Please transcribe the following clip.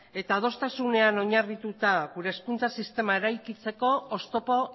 eta adostasunean oinarrituta gure hezkuntza sisteman eraikitzeko oztopo